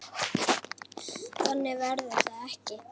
Þannig verður það ekki.